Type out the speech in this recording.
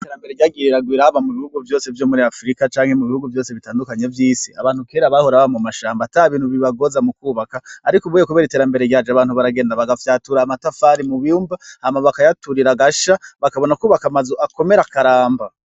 Ierambere ryagiriragwiraba mu bihugu vyose vyo muri afrika canke mu bihugu vyose bitandukanye vy'isi abantu kera bahora ba mu mashambo ata bintu bibagoza mu kwubaka, ariko ubuye, kubera iterambere ryaje abantu baragenda bagafyatura amatafari mu biyumba amabaka yaturira agasha bakabona kwubaka amazu akomera akaramba.